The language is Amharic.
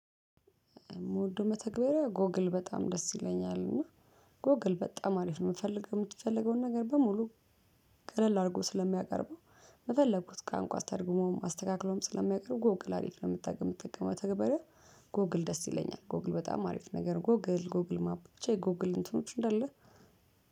የምወደው መተግበሪያ ጎግል በጣም ደስ ይለኛል እና ጎግል በጣም አሪፍ ነው። እምትፈልገው እምትፈልገውን ነገር በሙሉ ቀለል አርጎ ስለሚያቀርበው በፈለኩት ቋንቋ ተርጉሞም አስተካክሎም ስለሚያቀርበው። ጎግል አሪፍ ለመጠቀም መጠቀም መተገበሪያ ጎግል ደስ ይለኛል። ጎግል በጣም አሪፍ ነገር ጎግል ጎግል ማፕ ብቻ የጎግል እንትኖች እንዳለ